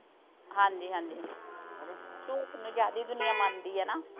ਹਾਂਜੀ-ਹਾਂਜੀ ਝੂਠ ਨੂੰ ਜ਼ਿਆਦੇ ਈ ਦੁਨੀਆਂ ਮੰਨਦੀ ਆ ਨਾ।